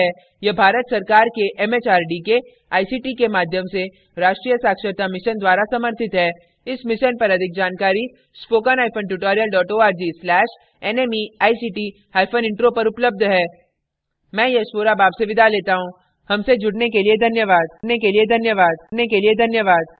यह भारत सरकार के एम एच आर डी के आई सी टी माध्यम से राष्ट्रीय साक्षरता मिशन द्वारा समर्थित है इस मिशन पर अधिक जानकारी